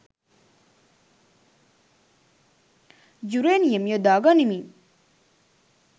uranium යොදා ගනිමින්